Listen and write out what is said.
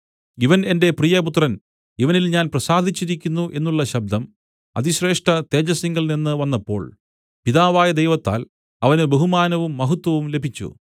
ഇവൻ എന്റെ പ്രിയപുത്രൻ ഇവനിൽ ഞാൻ പ്രസാദിച്ചിരിക്കുന്നു എന്നുള്ള ശബ്ദം അതിശ്രേഷ്ഠതേജസ്സിങ്കൽനിന്ന് വന്നപ്പോൾ പിതാവായ ദൈവത്താൽ അവന് ബഹുമാനവും മഹത്വവും ലഭിച്ചു